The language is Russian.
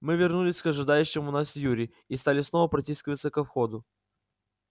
мы вернулись к ожидающему нас юре и стали снова протискиваться ко входу